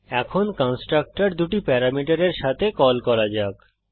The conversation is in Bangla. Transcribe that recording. এখন কন্সট্রকটর দুটি প্যারামিটারের সাথে কল করা যাক